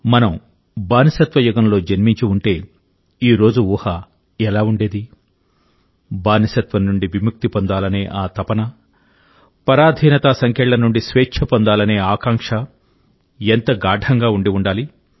మనం బానిసత్వ యుగంలో జన్మించి ఉంటే ఈ రోజు ఊహ ఎలా ఉండేది బానిసత్వం నుండి విముక్తి పొందాలనే ఆ తపన పరాధీనతా సంకెళ్ళ నుండి స్వేచ్ఛ పొందాలనే ఆకాంక్ష ఎంత గాఢంగా ఉండి ఉండాలి